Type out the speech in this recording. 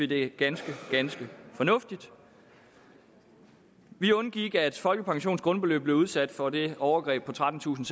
det er ganske ganske fornuftigt vi undgik at folkepensionens grundbeløb blev udsat for det overgreb på trettentusinde